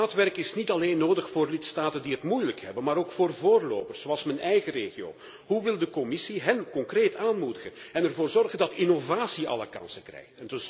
Maatwerk is niet alleen nodig voor lidstaten die het moeilijk hebben, maar ook voor voorlopers zoals mijn eigen regio. Hoe wil de Commissie deze concreet aanmoedigen en ervoor zorgen dat innovatie alle kansen krijgt?